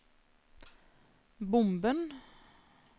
bomben